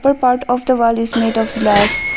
Upper part of the wall is made of glass.